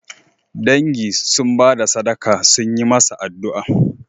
Dangi sun ba da sadaka sun yi masa addu'a